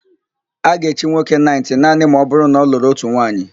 A ga-echi nwoke naịtị naanị ma ọbụrụ na ọ lụrụ ótù nwaanyị.